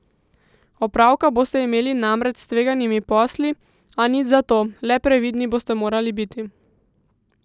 Opravka boste imeli namreč s tveganimi posli, a nič za to, le previdni boste morali biti.